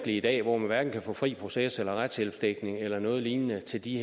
i dag hvor man hverken kan få fri proces eller retshjælpsdækning eller noget lignende til de